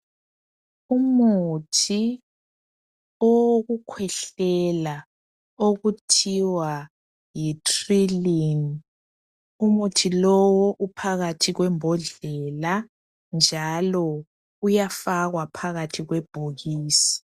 Umuthi owokukhwehlela okuthiwa yi 'Trilyn'. Umuthi lo uphakathi kwebhodlela njalo uyafakwa phathi kwebhokisi.